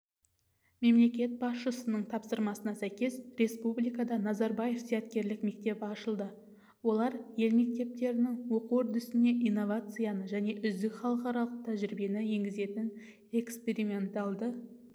мемлекет басшысының тапсырмасына сәйкес республикада назарбаев зияткерлік мектебі ашылды олар ел мектептерінің оқу үрдісіне инновацияны және үздік халықаралық тәжірибені енгізетін эксперименталды